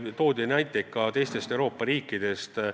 Toodi näiteid ka teistest Euroopa riikidest.